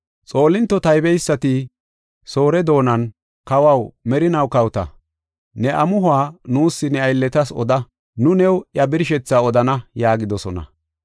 Xoolinto taybeysati Soore doonan, “Kawaw, merinaw kawota! Ne amuhuwa nuus ne aylletas oda; nu new iya birshethaa odana” yaagidosona.